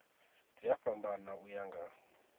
dzi a fhambana uya nga